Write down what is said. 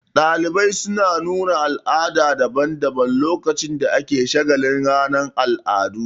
Ɗalibai suna nuna al'adu daban daban lokacin da ake shagalin ranar al'adu